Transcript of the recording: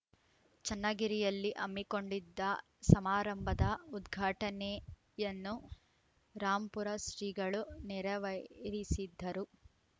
ಚನ್ನಗಿರಿಯಲ್ಲಿ ಅ ಮ್ಮಿಕೊಂಡಿದ್ದ ಸಮಾರಂಭದ ಉದ್ಘಾಟನೆಯನ್ನು ರಾಂಪುರ ಶ್ರೀಗಳು ನೆರವೇರಿಸಿದ್ದರು